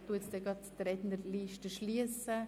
Ich werde die Rednerliste demnächst schliessen.